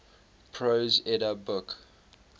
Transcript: prose edda book